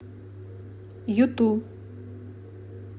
юту